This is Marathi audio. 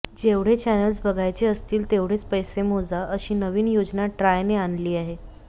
जेवढे चॅनेल्स बघायचे असतील तेवढेच पैसे मोजा अशी नवीन योजना ट्रायने आणली आहे